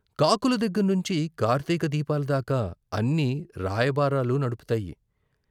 కాకుల దగ్గర్నుంచి కార్తిక దీపాల దాకా అన్నీ రాయబారాలు నడుపుతాయి.